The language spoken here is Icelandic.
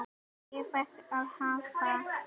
Ég fékk að hafa